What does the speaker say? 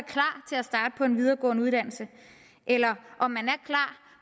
er starte på en videregående uddannelse eller om